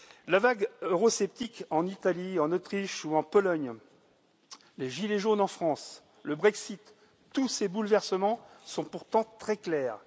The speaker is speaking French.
La vague eurosceptique en Italie, en Autriche ou en Pologne, les gilets jaunes en France, le Brexit tous ces bouleversements sont pourtant très clairs.